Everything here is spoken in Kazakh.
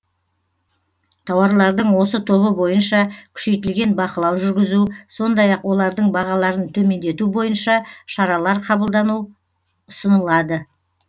тауарлардың осы тобы бойынша күшейтілген бақылау жүргізу сондай ақ олардың бағаларын төмендету бойынша шаралар қабылдану ұсынылады